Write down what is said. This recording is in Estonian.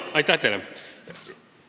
Aitäh teile!